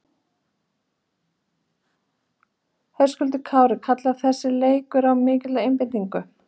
Höskuldur Kári: Kallar þessi leikur á mikla einbeitingu?